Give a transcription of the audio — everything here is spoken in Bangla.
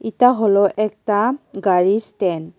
এটা হল একতা গাড়ির স্ট্যান্ড ।